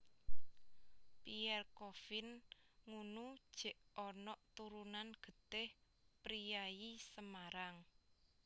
Pierre Coffin ngunu jek onok turunan getih priyayi Semarang